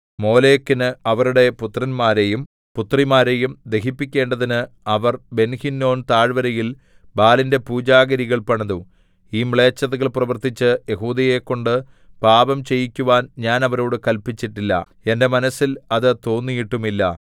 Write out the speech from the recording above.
മോലെക്കിന് അവരുടെ പുത്രന്മാരെയും പുത്രിമാരെയും ദഹിപ്പിക്കേണ്ടതിന് അവർ ബെൻഹിന്നോം താഴ്വരയിൽ ബാലിന്റെ പൂജാഗിരികൾ പണിതു ഈ മ്ലേച്ഛതകൾ പ്രവർത്തിച്ച് യെഹൂദയെക്കൊണ്ട് പാപം ചെയ്യിക്കുവാൻ ഞാൻ അവരോടു കല്പിച്ചിട്ടില്ല എന്റെ മനസ്സിൽ അത് തോന്നിയിട്ടുമില്ല